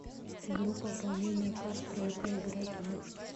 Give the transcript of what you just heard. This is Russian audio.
игру пополнение карт тройка играть в